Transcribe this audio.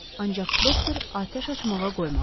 Ancaq doktor atəş açmağa qoymadı.